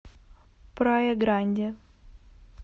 прая гранди